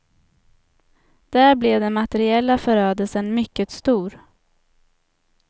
Där blev den materiella förödelsen mycket stor.